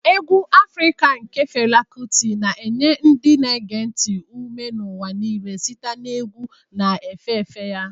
Egwu Afrika nke Fela Kuti' na-enye ndị na-ege ntị ume n'ụwa niile site na egwu na-efe efe ya.